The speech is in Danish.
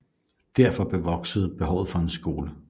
Derfor voksede behovet for en skole